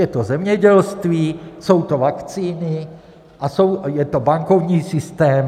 Je to zemědělství, jsou to vakcíny a je to bankovní systém.